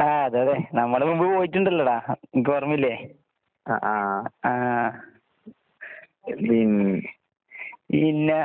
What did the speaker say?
ആഹ് അതെ അതെ. നമ്മള് മുമ്പ് പോയിട്ടുണ്ടല്ലോടാ. ഇൻക്ക് ഓർമ്മയില്ലേ? ആഹ്. പിന്നേ